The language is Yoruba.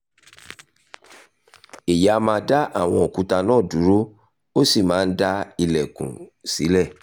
èyí á máa dá àwọn òkúta náà dúró ó sì máa ń dá ìlẹ́kùn sílẹ̀